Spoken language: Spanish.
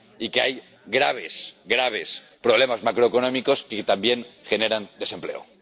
y de que hay graves, graves problemas macroeconómicos que también generan desempleo.